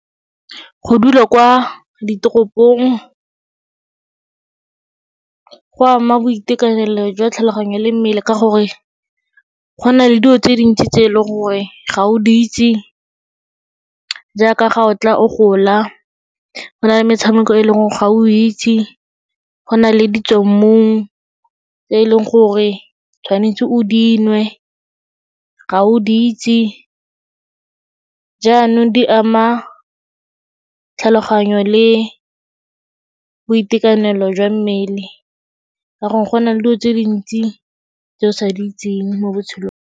Go dula kwa ditoropong go ama boitekanelo jwa tlhaloganyo le mmele ka gore go na le dio tse dintsi tse e leng gore ga o di itse jaaka ga o tla o gola. Go na le metshameko e leng ga o itse, go na le ditswammung tse e leng gore tshwanetse o dinwe, ga o di itse jaanong di ama tlhaloganyo le boitekanelo jwa mmele ka gore go na le dio tse dintsi tse o sa di itseng mo botshelong.